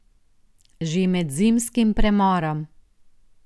Že med zimskim premorom ...